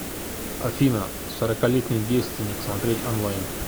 афина сороколетний девственник смотреть онлайн